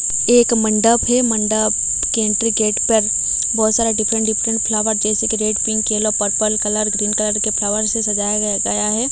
एक मंडप हैं मंडप के एंट्री गेट पर बहोत सारे डिफरेंट डिफरेंट फ्लॉवर जैसे कि red pink yellow purple colour green colour के फ्लॉवर से सजाया ग गया हैं।